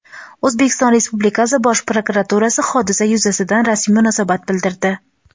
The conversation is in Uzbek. O‘zbekiston Respublikasi Bosh prokuraturasi hodisa yuzasidan rasmiy munosabat bildirdi.